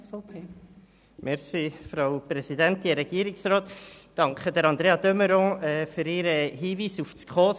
Ich danke Andrea de Meuron für ihren Hinweis auf die SKOS.